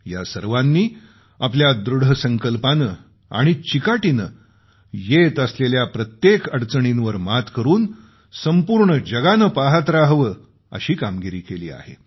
या सर्वांनी आपल्या दृढसंकल्पाने आणि चिकाटीने येत असलेल्या प्रत्येक अडचणींवर मात करून संपूर्ण जगाने पहात रहावं अशी कामगिरी केली आहे